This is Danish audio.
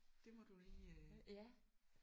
Det må du lige øh